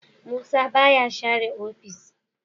Musa baya share ofis.